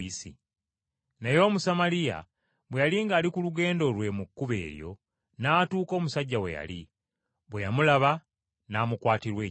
Naye Omusamaliya bwe yali ng’ali ku lugendo lwe mu kkubo eryo, n’atuuka omusajja we yali; bwe yamulaba n’amukwatirwa ekisa,